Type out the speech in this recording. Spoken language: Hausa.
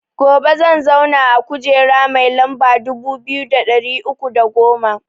Gobe zan zauna a kujera mai lamba dubu biyu da ɗari uku da goma